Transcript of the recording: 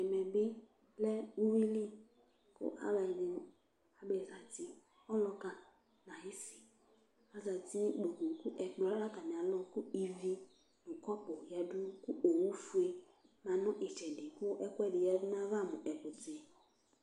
ɛmɛ bi lɛ uwili kò alo ɛdi abe zati ɔluka n'ayi si azati no ikpoku k'ɛkplɔ lɛ n'atami alɔ kò ivi no kɔpu ya du kò owu fue lɛ no itsɛdi kò ɛkòɛdi ya du n'ava mo ɛkutɛ